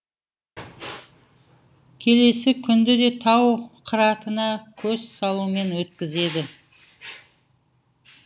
келесі күнді де тау қыратына көз салумен өткізеді